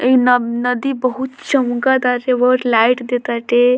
ई नम नदी बहुत चमक ताटे बहुत लाइट दे ताटे।